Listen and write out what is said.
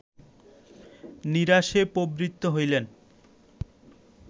নিরাসে প্রবৃত্ত হইলেন